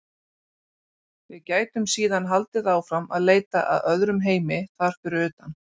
Við gætum síðan haldið áfram að leita að öðrum heimi þar fyrir utan.